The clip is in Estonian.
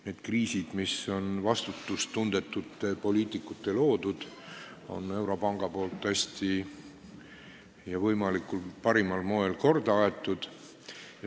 Neid kriise, mis on vastutustundetute poliitikute loodud, on Euroopa Keskpank hästi, parimal võimalikul moel, korda ajanud.